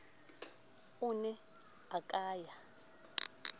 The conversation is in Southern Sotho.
o ne a ka ya